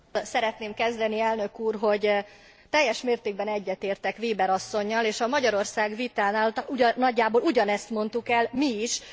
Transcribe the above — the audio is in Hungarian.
Azzal szeretném kezdeni, Elnök Úr, hogy teljes mértékben egyetértek Weber asszonnyal, és a Magyarország vitánál nagyjából ugyanezt mondtuk el mi is.